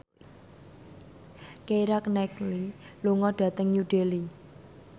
Keira Knightley lunga dhateng New Delhi